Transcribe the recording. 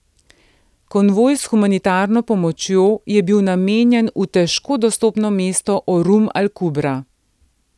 Konvoj s humanitarno pomočjo je bil namenjen v težko dostopno mesto Orum al Kubra.